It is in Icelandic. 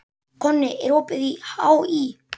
Konni, er opið í HÍ?